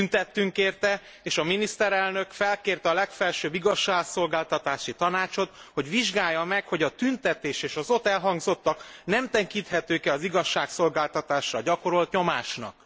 Tüntettünk érte, és a miniszterelnök felkérte a legfelsőbb igazságszolgáltatási tanácsot, hogy vizsgálja meg, hogy a tüntetés és az ott elhangzottak nem tekinthetők e az igazságszolgáltatásra gyakorolt nyomásnak.